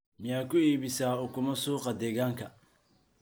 miyaa ku iibisaa ukumo suuqa deegaanka